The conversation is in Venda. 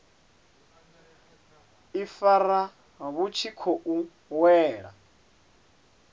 ifara vhu tshi khou wela